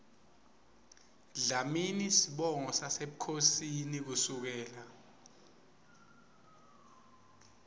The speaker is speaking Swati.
dlamini sibongo sasebukhosini kusukela